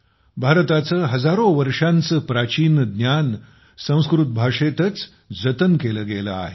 भारताचे हजारो वर्षांचे प्राचीन ज्ञान संस्कृत भाषेतच जतन केले गेले आहे